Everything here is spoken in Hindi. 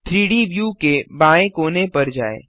3डी व्यू के बाएँ कोने पर जाएँ